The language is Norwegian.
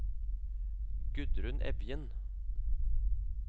Gudrun Evjen